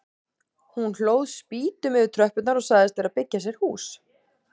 Hún hlóð spýtum yfir tröppurnar og sagðist vera að byggja sér hús.